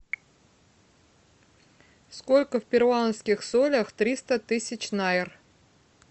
сколько в перуанских солях триста тысяч найр